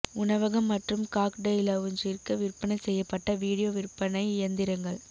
உணவகம் மற்றும் காக்டெய்ல் லவுஞ்சிற்கு விற்பனை செய்யப்பட்ட வீடியோ விற்பனை இயந்திரங்கள்